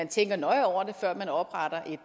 tænker nøje over det før man opretter